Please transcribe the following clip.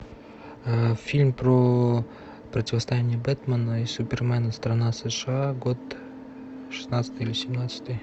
фильм про противостояние бэтмена и супермена страна сша год шестнадцатый или семнадцатый